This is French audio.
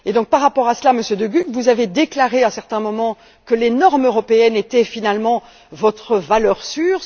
Par rapport à cela, Monsieur De Gucht, vous avez déclaré, à certains moments, que les normes européennes étaient finalement votre valeur sûre.